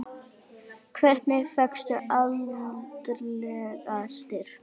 Hvernig fékkstu andlegan styrk?